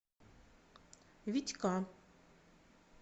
витька